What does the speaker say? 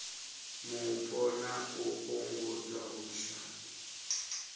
mupo na u fhungudza vhushai